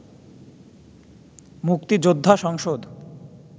মুক্তিযোদ্ধা সংসদ